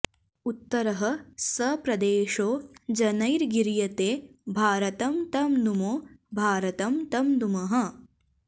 उत्तरः स प्रदेशो जनैर्गीयते भारतं तं नुमो भारतं तं नुमः